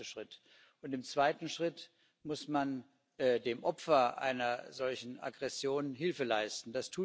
Das ist der erste Schritt. Und im zweiten Schritt muss man dem Opfer einer solchen Aggression Hilfe leisten.